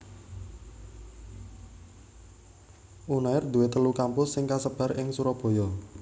Unair duwé telu kampus sing kasebar ing Surabaya